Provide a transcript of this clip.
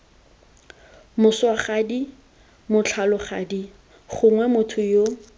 moswagadi motlholagadi gongwe motho yo